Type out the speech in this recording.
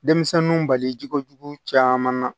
Denmisɛnninw balijogo jugu caman na